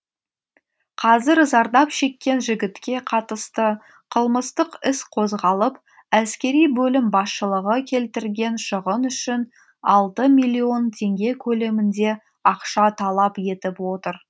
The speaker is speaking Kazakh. қазір зардап шеккен жігітке қатысты қылмыстық іс қозғалып әскери бөлім басшылығы келтірген шығын үшін алты миллион теңге көлемінде ақша талап етіп отыр